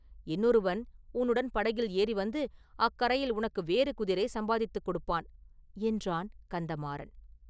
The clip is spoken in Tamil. இன்னொருவன் உன்னுடன் படகில் ஏறி வந்து அக்கரையில் உனக்கு வேறு குதிரை சம்பாதித்துக் கொடுப்பான்!” என்றான் கந்தமாறன்.